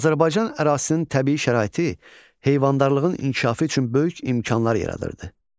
Azərbaycan ərazisinin təbii şəraiti heyvandarlığın inkişafı üçün böyük imkanlar yaradırdı.